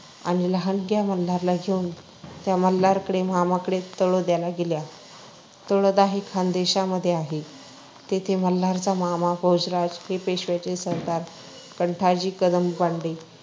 आणि लहानग्या मल्हारला घेऊन त्या मल्हारच्या मामाकडे तळोद्याला गेल्या. तळोदा हे खानदेशामध्ये आहे. तेथे मल्हारचा मामा भोजराज हा पेशव्यांचे सरदार कंठाजी कदम बांडे